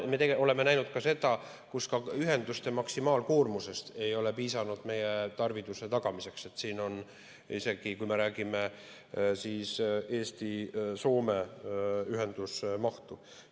Me oleme näinud ka seda, et ühenduste maksimaalkoormusest ei ole piisanud meie tarviduse tagamiseks, isegi kui me räägime Eesti ja Soome ühenduse mahust.